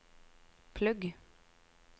plugg